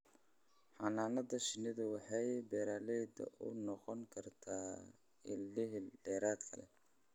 Xannaanada shinnidu waxay beeralayda u noqon kartaa il dakhli dheeraad ah.